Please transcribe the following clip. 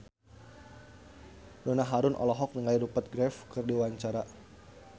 Donna Harun olohok ningali Rupert Graves keur diwawancara